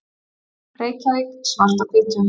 Reykjavík, Svart á hvítu.